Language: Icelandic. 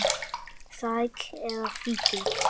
Þræll eða fíkill.